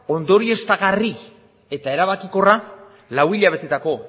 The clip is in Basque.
ondorioztagarri eta erabakikorra lau hilabetetako